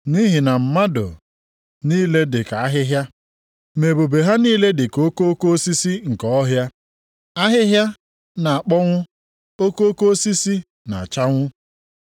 Nʼihi na, “Mmadụ niile dị ka ahịhịa, ma ebube ha niile dị ka okoko osisi nke ọhịa, ahịhịa na-akpọnwụ, okoko osisi na-achanwụ,